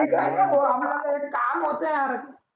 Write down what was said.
एक ऐका ना भाऊ आम्हाला एक काम होता यार